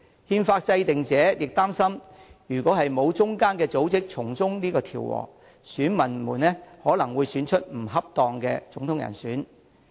憲法制定者亦擔心，如果沒有中間組織從中調和，選民可能會選出不恰當的總統人選。